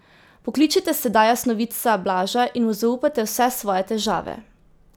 Pokličite sedaj jasnovidca Blaža in mu zaupajte vse svoje težave.